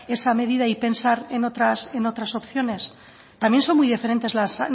esa medida y pensar en otras opciones también son muy diferentes las